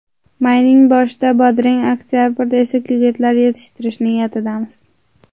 Mayning boshida bodring, oktabrda esa ko‘katlar yetishtirish niyatidamiz.